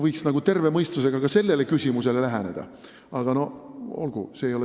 Võiks nagu terve mõistusega ka sellele küsimusele läheneda.